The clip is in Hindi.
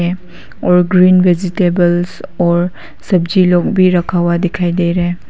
और ग्रीन वेजेटेबल और सब्जी लोग भी रखा हुआ दिखाई दे रहा है।